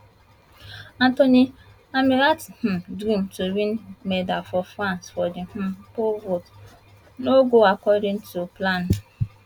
anthony ammirati um dream to win medal for france for di um pole vault no go according to plan